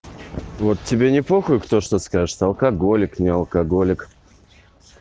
вот тебе не похуй кто что скажет алкоголик не алкоголик